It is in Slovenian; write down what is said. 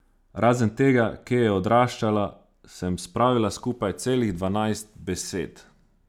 Razen tega, kje je odraščala, sem spravila skupaj celih dvanajst besed.